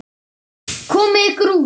Komiði ykkur út.